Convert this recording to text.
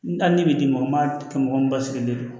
N hali ni bi mɔgɔ ma kɛ mɔgɔ min ba sigilen don